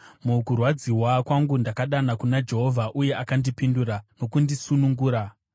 Mukurwadziwa kwangu ndakadana kuna Jehovha, uye akandipindura nokundisunungura.